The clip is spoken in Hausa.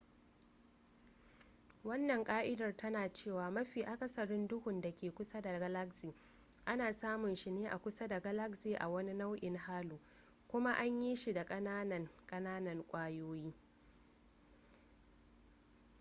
wannan ka'idar tana cewa mafi akasarin duhun da ke kusa da galaxy ana samun shi ne a kusa da galaxy a wani nau'in halo kuma an yi shi da kananan kananan kwayoyi